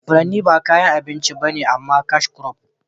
furanni ba kayan abinci ba ne amma cashcrop